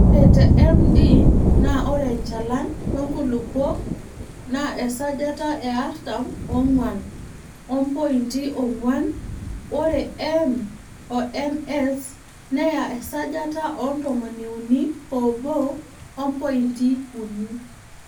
Ore te MD naa ore enchalan oo nkulupuok naa esajata e artam oong'wan o mpointi oong'wan ore M o MS neya esajata o ntomoniuni oobo ompointi uni.